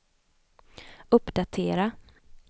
uppdatera